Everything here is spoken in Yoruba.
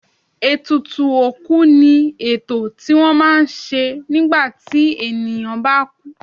Ètùtù òkú ni ètò tí wọ́n má ń ṣe nígbà tí ènìyàn bá kú.